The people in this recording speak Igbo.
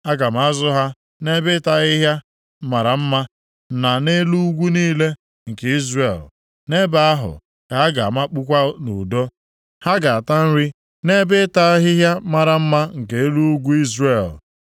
Aga m azụ ha nʼebe ịta ahịhịa mara mma, na nʼelu ugwu niile nke Izrel. Nʼebe ahụ ka ha ga-amakpukwa nʼudo. Ha ga-ata nri nʼebe ịta ahịhịa mara mma nke elu ugwu Izrel.